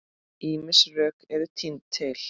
Ýmis rök eru tínd til.